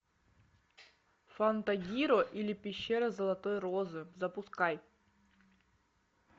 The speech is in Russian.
фантагиро или пещера золотой розы запускай